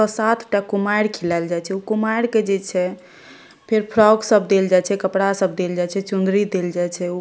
सातटा कुमाएर खिलेल जाय छै उ कुमाएर के जे छै फेर फ्रॉक सब देल जाय छै कपड़ा सब देल जाय छै चुंदरी देल जाय छै।